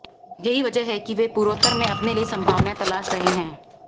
यही वजह है कि वे पूर्वोत्तर में अपने लिए संभावनाएं तलाश रहे हैं